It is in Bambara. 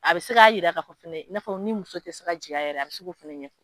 A bɛ se k'a yira ka' fɔ fɛnɛ ni muso tɛ se ka jigin a yɛrɛ ye a bɛ se ko fana ɲɛfɔ.